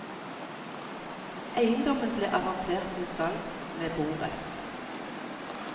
Eiendommen ble avertert til salgs med borett.